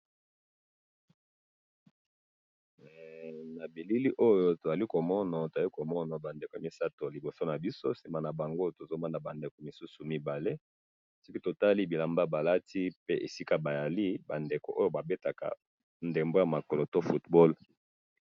na bilili oyo tozali komona, tozali komona ba ndeko misatu na liboso nabiso, sima na bango tozomona ba ndeko misusu mibale, siko totali bilamba balati, pe esika bazali ba ndeko oyo babetaka ndembo ya mokolo football